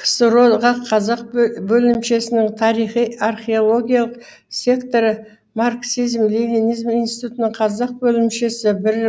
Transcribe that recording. ксро ға қазақ бөлімшесінің тарихи археологиялық секторы марксизм ленинизм институтының қазақ бөлімшесі бір